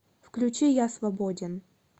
включи я свободен